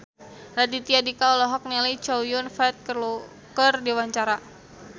Raditya Dika olohok ningali Chow Yun Fat keur diwawancara